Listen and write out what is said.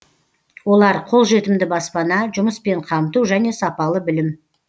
олар қолжетімді баспана жұмыспен қамту және сапалы білім